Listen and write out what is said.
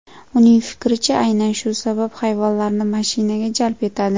Uning fikricha, aynan shu sabab hayvonlarni mashinaga jalb etadi.